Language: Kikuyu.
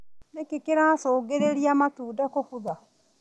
Nĩkĩ kĩracũngĩrĩria matunda kũbutha.